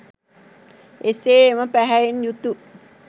එසේ එම පැහැයෙන් යුතු